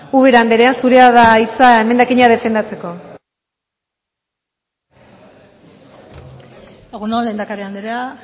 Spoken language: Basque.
ubera andrea zurea da hitza emendakina defendatzeko egun on lehendakari andrea